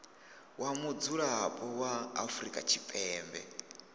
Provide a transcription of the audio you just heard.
wa mudzulapo wa afrika tshipembe